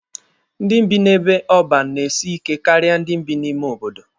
Ndị bi n'ebe ọban na-esi ike karịa ndị bi n'ime obodo.